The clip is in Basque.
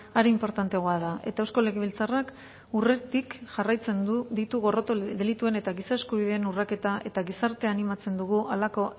are inportanteagoa da eta eusko legebiltzarrak urretik jarraitzen ditu gorroto delituen eta giza eskubideen urraketa eta gizartea animatzen dugu halako